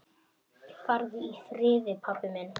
Farðu í friði, pabbi minn.